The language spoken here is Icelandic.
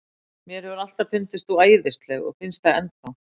Mér hefur alltaf fundist þú æðisleg og finnst það enn þá.